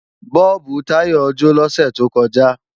Bọ́ọ̀bù Táyọ jó lọ́sẹ̀ tó kọjá